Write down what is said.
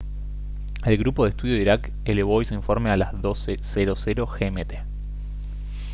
el grupo de estudio de irak elevó hoy su informe a las 12:00 gmt